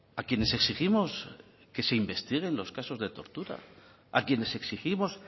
a quienes exigimos que se investiguen los casos de tortura a quienes exigimos